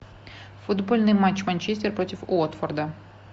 футбольный матч манчестер против уотфорда